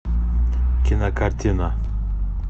кинокартина